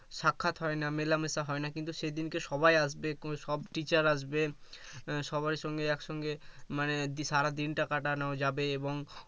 সাক্ষাৎ হয় না মিলামিশা হয় না কিন্তু সেদিনকে সবাই আসবে সব teacher আসবে এর সবার সঙ্গে একসঙ্গে মানে সারা দিনটা কাটানো যাবে এবং